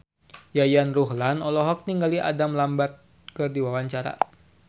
Yayan Ruhlan olohok ningali Adam Lambert keur diwawancara